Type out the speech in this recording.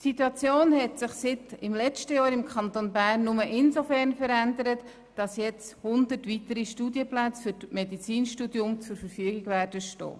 Die Situation im Kanton Bern hat sich seit dem letzten Jahr nur insofern verändert, als jetzt 100 weitere Studienplätze für das Medizinstudium zur Verfügung stehen werden.